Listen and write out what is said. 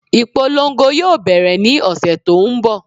Ìpolongo yóò bẹ̀rẹ̀ ní ọ̀sẹ̀ tó n bọ̀